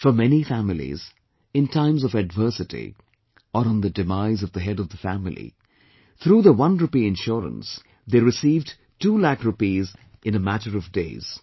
For many families, in times of adversity, or on the demise of the head of the family, through the onerupee insurance, they received two lakh rupees in a matter of days